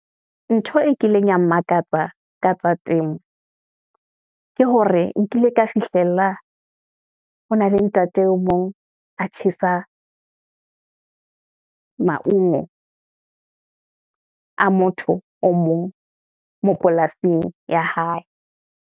Ntho e kileng ya mmakatsa ka tsa temo, ke hore nkile ka fihlella, ho na le ntate o mong a tjhesa maongo a motho o mong mo polasing ya hae.